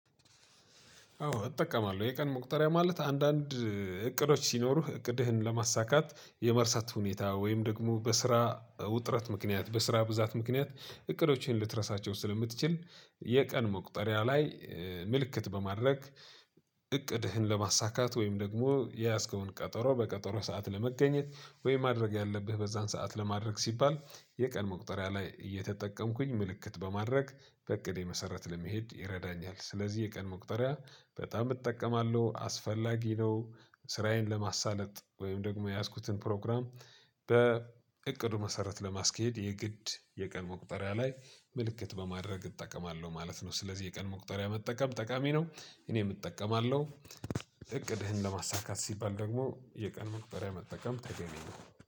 አዎ እጠቀማለሁ የቀን መቁጠሪያ ማለት አንዳንድ እቅዶች ሲኖሩህ እቅድህን ለማሳካት የመርሳት ሁኔታ ወይም ደግሞ በስራ ውጥረት ምክንያት በስራ ብዛት ምክንያት እቅዶችን ልትረሳቸው ስለምትችል የቀን መቁጠሪያ ላይ ምልክት በማድረግ እቅድህን ለማሳካት ውይም ደግሞ የያስከውን ቀጠሮ በቀጠሮ ሰዓት ለመገኘት ወይ ማድረግ ያለብህ በዛን ሰዓት ለማድረግ ሲባል የቀን መቁጠሪያ ላይ እየተጠቀምኩኝ ምልክት በማድረግ በእቅዴ መሰረት ለመሄድ ይረዳኛል ስለዚህ የቀን መቁጠሪያ በጣም እጠቀማለሁ አስፈላጊ ነው። ስራዬን ለማሳለጥ ወይም ደግሞ የያዝኩትን ፕሮግራም በእቅዱ መሰረት ለማስኬድ የግድ የቀን መቁጠሪያ ላይ ምልክት በማድረግ እጠቀማለሁ ማለት ነው። ስለዚህ የቀን መቁጠሪያ መጠቀም ጠቃሚ ነው። እኔም እጠቀማለው። እቅድህን ለማሳካት ሲባል ደግሞ የቀን መቁጠርያ መጠቀም ተገቢ ነው።